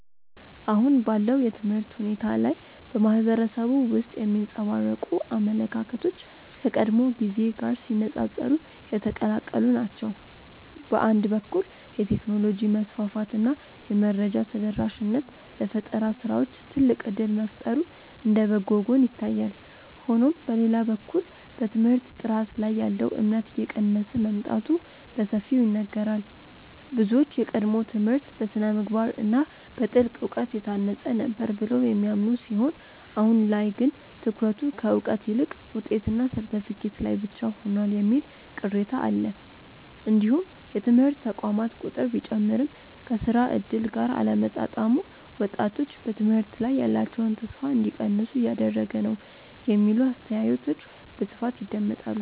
አሁን ባለው የትምህርት ሁኔታ ላይ በማህበረሰቡ ውስጥ የሚንጸባረቁ አመለካከቶች ከቀድሞው ጊዜ ጋር ሲነፃፀሩ የተቀላቀሉ ናቸው። በአንድ በኩል የቴክኖሎጂ መስፋፋት እና የመረጃ ተደራሽነት ለፈጠራ ስራዎች ትልቅ እድል መፍጠሩ እንደ በጎ ጎን ይታያል። ሆኖም በሌላ በኩል በትምህርት ጥራት ላይ ያለው እምነት እየቀነሰ መምጣቱ በሰፊው ይነገራል። ብዙዎች የቀድሞው ትምህርት በስነ-ምግባር እና በጥልቅ እውቀት የታነጸ ነበር ብለው የሚያምኑ ሲሆን አሁን ላይ ግን ትኩረቱ ከእውቀት ይልቅ ውጤትና ሰርተፍኬት ላይ ብቻ ሆኗል የሚል ቅሬታ አለ። እንዲሁም የትምህርት ተቋማት ቁጥር ቢጨምርም ከስራ እድል ጋር አለመጣጣሙ ወጣቶች በትምህርት ላይ ያላቸውን ተስፋ እንዲቀንሱ እያደረገ ነው የሚሉ አስተያየቶች በስፋት ይደመጣሉ።